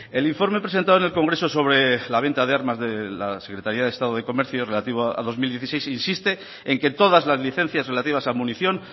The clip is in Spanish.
el informe presentado en el congreso sobre la venta de armas de la secretaría de estado de comercio relativo a dos mil dieciséis insiste en que todas las licencias relativas a munición